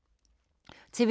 TV 2